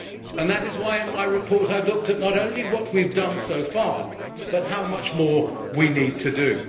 And that is why in my report I have looked at not only what we have done so far, but how much more we need to do.